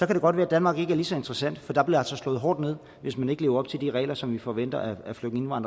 det godt være danmark ikke er lige så interessant for der bliver altså slået hårdt ned hvis man ikke lever op til de regler som vi forventer af flygtninge og